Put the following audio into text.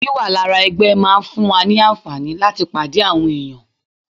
Wíwà lára ẹgbẹ́ máa ń fún wa ní àǹfààní láti pàdé àwọn èèyàn